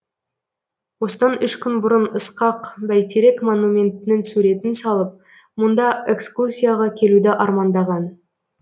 осыдан үш күн бұрын ысқақ бәйтерек монументінің суретін салып мұнда экскурсияға келуді армандаған